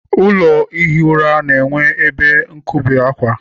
Ụlọ ihi ura na-enwe ebe nkobe akwa.